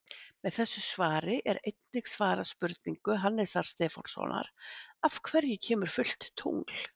Með þessu svari er einnig svarað spurningu Hannesar Stefánssonar: Af hverju kemur fullt tungl?